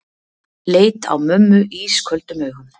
Leit á mömmu ísköldum augum.